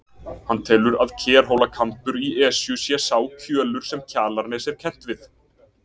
Hann telur að Kerhólakambur í Esju sé sá kjölur sem Kjalarnes er kennt við.